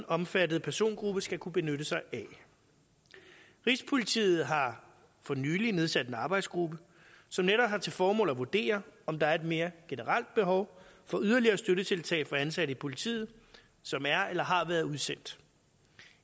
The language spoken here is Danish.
omfattede persongruppe skal kunne benytte sig af rigspolitiet har for nylig nedsat en arbejdsgruppe som netop har til formål at vurdere om der er et mere generelt behov for yderligere støttetiltag for ansatte i politiet som er eller har været udsendt